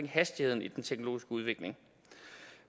hastigheden i den teknologiske udvikling